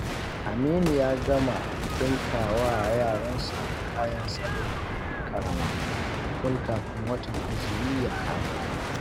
Aminu ya gama ɗinka wa yaransa kayan sallah ƙarama tun kafin watan azumi ya kama.